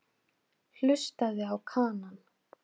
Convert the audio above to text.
Hlustaði á Kanann.